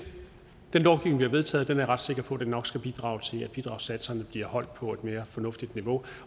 den lovgivning vi har vedtaget er jeg ret sikker på nok skal bidrage til at bidragssatserne bliver holdt på et mere fornuftigt niveau